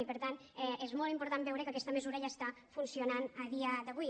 i per tant és molt important veure que aquesta mesura ja està funcionant a dia d’avui